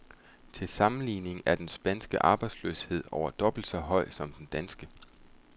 Til sammenligning er den spanske arbejdsløshed over dobbelt så høj som den danske.